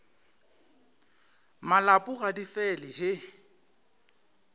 malopo ga di fele he